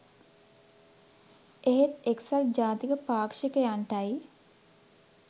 ඒත් එක්සත් ජාතික පාක්ෂිකයන්ටයි